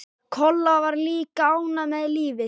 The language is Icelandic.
Kolla var líka ánægð með lífið.